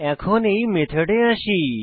এখন এই মেথডে আসি